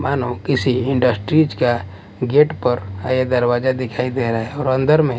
मानो किसी इंडस्ट्रीज का गेट पर आया दरवाजा दिखाई दे रहा है और अंदर में--